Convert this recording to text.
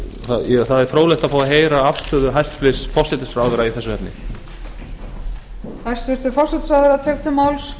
það er fróðlegt að fá að heyra afstöðu hæstvirts forsætisráðherra í þessu efni